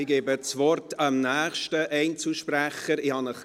Ich erteile dem nächsten Einzelsprecher das Wort.